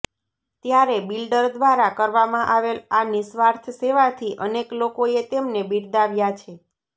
ત્યારે બિલ્ડર દ્વારા કરવામાં આવેલ આ નિસ્વાર્થ સેવાથી અનેક લોકોએ તેમને બિરદાવ્યા છે